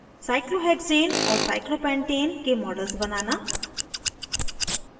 cyclohexane और cyclopentane के model बनाना